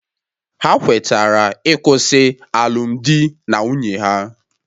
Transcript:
Ha kwetara ịkwụsị alụmdi na nwunye ha